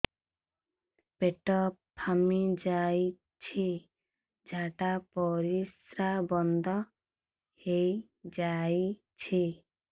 ପେଟ ଫାମ୍ପି ଯାଇଛି ଝାଡ଼ା ପରିସ୍ରା ବନ୍ଦ ହେଇଯାଇଛି